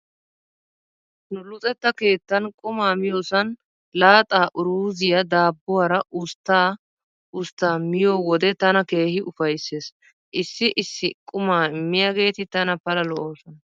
Nu luxetta keettan qumaa miyoosan laaxaa uruuziyaa daabbuwaara ustta ustta miyo wode tana keehi ufayssees. Issi issi qumaa immiyaageeti tana Pala lo'oosona.